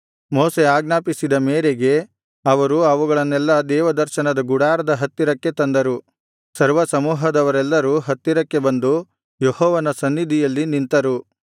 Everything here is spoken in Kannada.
ಮೋಶೆ ಆಜ್ಞಾಪಿಸಿದ ಮೇರೆಗೆ ಅವರು ಅವುಗಳನ್ನೆಲ್ಲಾ ದೇವದರ್ಶನ ಗುಡಾರದ ಹತ್ತಿರಕ್ಕೆ ತಂದರು ಸರ್ವಸಮೂಹದವರೆಲ್ಲರೂ ಹತ್ತಿರಕ್ಕೆ ಬಂದು ಯೆಹೋವನ ಸನ್ನಿಧಿಯಲ್ಲಿ ನಿಂತರು